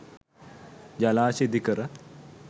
ජලාශ ඉදිකර